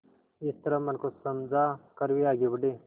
इस तरह मन को समझा कर वे आगे बढ़े